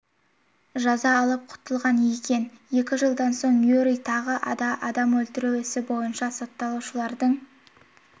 жаза алып құтылған екен екі жылдан соң юрий тағы да адам өлтіру ісі бойынша сотталушылардың